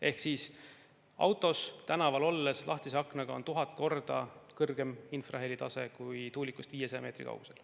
Ehk lahtise aknaga autos tänaval olles on 1000 korda kõrgem infrahelitase kui tuulikust 500 meetri kaugusel.